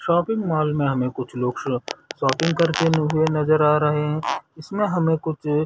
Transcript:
shopping mall में हमें कुछ लोग शो शौपिंग करते हुए नज़र आ रहे है इसमें हमें कुछ--